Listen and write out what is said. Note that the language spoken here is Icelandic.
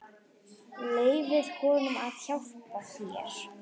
Leyfðu honum að hjálpa þér.